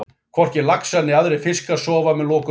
Hvorki laxar né aðrir fiskar sofa með lokuð augun.